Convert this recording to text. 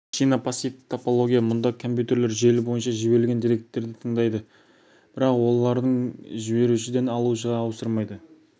шина пассивті топология мұнда компьютер желі бойынша жіберілген деректерді тыңдайды бірақ оларды жіберушіден алушыға ауыстырмайды